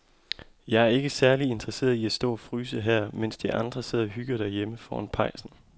Jeg er ikke særlig interesseret i at stå og fryse her, mens de andre sidder og hygger sig derhjemme foran pejsen.